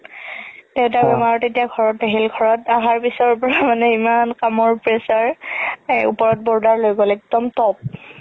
দেউতাৰ বেমাৰ তেতিয়া ঘৰত আহিল ঘৰত আহাৰ পিছৰ পৰা মানে ইমান কামৰ pressure ওপৰত border লৈ ল'লে একদম top